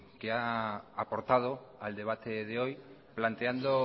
que ha aportado al debate de hoy planteando